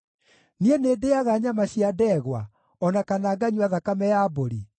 Niĩ nĩndĩĩaga nyama cia ndegwa, o na kana nganyua thakame ya mbũri?